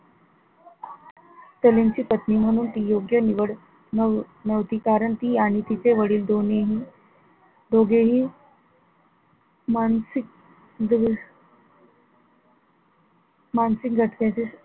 सलीम ची पत्नी म्हणून तिची योग्य निवळ नव्ह नव्हती कारण ती आणि तिचे वडील दोन्ही हि, दोघेही मानसिक दोष मानसिक दचक्याचे,